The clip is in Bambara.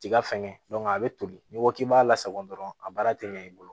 Tiga fɛngɛ a bɛ toli n'i ko k'i b'a lasago dɔrɔn a baara tɛ ɲɛ i bolo